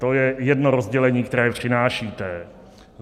To je jedno rozdělení, které přinášíte.